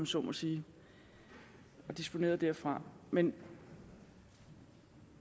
så må sige og disponeret derfra men